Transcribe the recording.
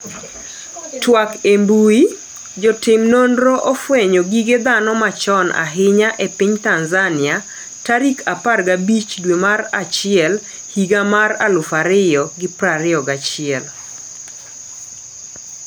twak e mbui, Jotim nonro ofwenyo gige dhano machon ahinya e piny Tanzania tarik 15 dwe mar achiel higa mar 2021